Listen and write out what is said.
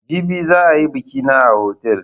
Jibi za a yi biƙi na a otal.